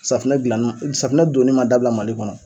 Safunɛ dilann ma safunɛ donni ma dabila Mali kɔnɔ.